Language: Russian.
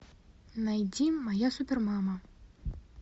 найди моя супер мама